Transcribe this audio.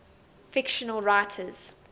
fictional writers